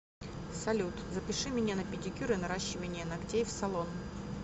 салют запиши меня на педикюр и наращивание ногтей в салон